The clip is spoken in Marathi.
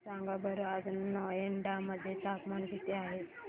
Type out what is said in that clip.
सांगा बरं आज नोएडा मध्ये तापमान किती आहे